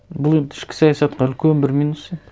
бұл енді ішкі саясатқа үлкен бір минус енді